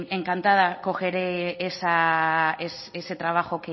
encantada cogeré ese trabajo